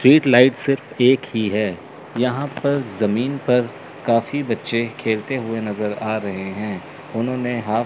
street light सिर्फ एक ही है यहां पर जमीन पर काफी बच्चे खेलते हुए नजर आ रहे हैं उन्होंने हॉफ --